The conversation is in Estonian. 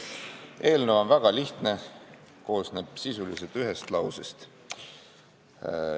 See on väga lihtne, koosneb sisuliselt ühest lausest.